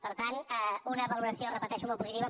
per tant una valoració ho repeteixo molt positiva